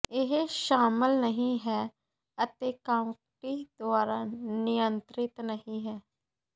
ਇਹ ਸ਼ਾਮਲ ਨਹੀਂ ਹੈ ਅਤੇ ਕਾਉਂਟੀ ਦੁਆਰਾ ਨਿਯੰਤ੍ਰਿਤ ਨਹੀਂ ਹੈ